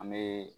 An bɛ